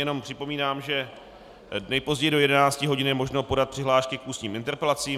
Jenom připomínám, že nejpozději do 11 hodin je možno podat přihlášky k ústním interpelacím.